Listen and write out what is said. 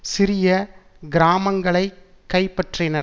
சிறிய கிராமங்களைக் கைப்பற்றினர்